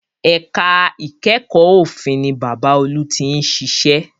Ẹ̀ka ìkẹ́kọ̀ọ́ òfin ni Bàbá olú tí ń ṣiṣẹ́